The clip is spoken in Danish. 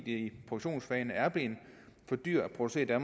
i produktionsfagene er blevet for dyrt at producere